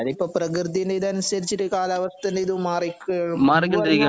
അതീപ്പൊ പ്രകൃതിന്റെ ഇത് അനുസരിച്ചിട്ട് കാലവസ്ഥന്റെ ഇതും മാറി